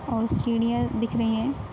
और सीढ़ियां दिख रहीं है।